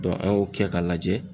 a y'o kɛ k'a lajɛ